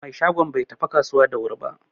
Mai shagon bai tafi kasuwa da wuri ba.